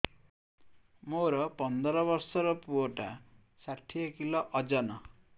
ମୋର ପନ୍ଦର ଵର୍ଷର ପୁଅ ଟା ଷାଠିଏ କିଲୋ ଅଜନ